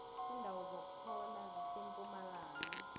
indawo zokuphola zisempumalanga